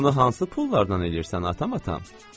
Bunu hansı pullardan eləyirsən atam, atam?